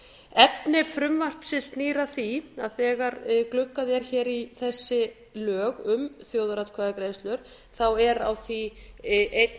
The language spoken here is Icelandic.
efni frumvarpsins snýr að því að þegar gluggað er hér í þessi lög um þjóðaratkvæðagreiðslur er á því einn